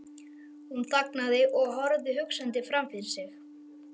Hún þagnaði og horfði hugsandi framfyrir sig.